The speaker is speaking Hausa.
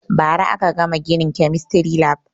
Ba ra aka gama ginin kemistry lab